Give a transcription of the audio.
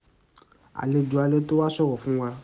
àlejò alẹ́ tó wá ṣòro fún wá ṣòro fún wọn láti yanjú àríyànjiyàn